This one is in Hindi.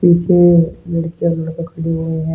पीछे लकड़ियां लड़का खड़े हुए है।